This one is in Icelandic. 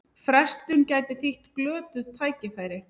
Frestun gæti þýtt glötuð tækifæri